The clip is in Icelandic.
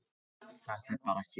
Þetta er bara hér.